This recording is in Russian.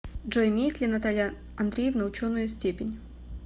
джой имеет ли наталья андреевна ученую степень